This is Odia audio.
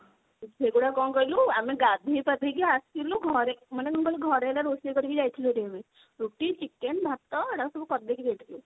ସେଗୁଡାକ କଣ କହିଲୁ ଆମେ ଗାଧେଇ ପାଧେଇ କି ଆସିଲୁ ଘରେ ମାନେ କଣ କହିଲୁ ଘରେ ହେଲା ରୋଷେଇ କରିକି ଯାଇଥିଲୁ ହେରି ଆମେ ରୁଟି chicken ଭାତ ଏଗୁଡା ସବୁ କରିଦେଇକି ଯାଇଥିଲୁ ଆମେ।